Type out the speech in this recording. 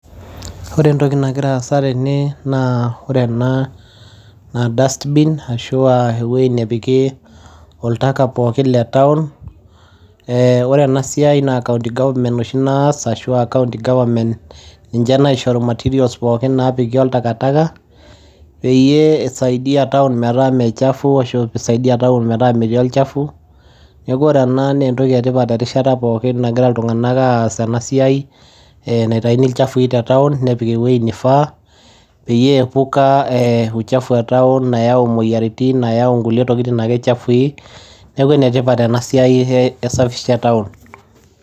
Wore entoki nagira aasa tene naa wore enaa naa dust bin ashua eweji nepiki oltaka pookin lee town eeh wore enasiai naa county government oshi naas ashua county government, ninje naishoru material pookin naapiki oltakataka , peyie isaidia town metaa mee chafu ashua pee isaidia town metaa metii olchafu. Niaku wore ena naa entoki etipat erishata pookin nagira iltunganak aas enasiai naitayuni ilchafui tee town nepiki eweji nifaa peyie epuka uuchafu ee town nayau imoyiritin nayau inkulie tokitin ake chafui. Niaku enetipat enasiai ee safisha town.